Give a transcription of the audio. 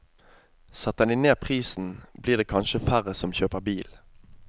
Setter de ned prisen, blir det kanskje færre som kjører bil.